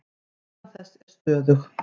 Líðan þess er stöðug.